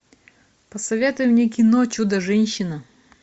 посоветуй мне кино чудо женщина